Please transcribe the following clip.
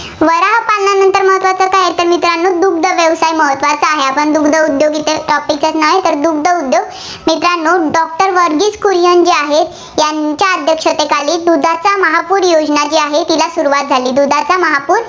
दुग्ध व्यवसाय महत्त्वाचा आहे. आपण दुग्ध उद्योग इथे नाही, तर दुग्ध उद्योग मित्रांनो doctor व्हर्गिस कुरियन जे आहेत, यांच्या अध्यक्षतेखाली दुधाचा महापूर योजना जी आहे, तिला सुरुवात झाली. दुधाचा महापूर